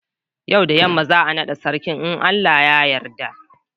Yau da yamma za'a naɗa sarakan in Allah ya yadda.